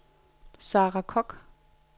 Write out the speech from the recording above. Sarah Kock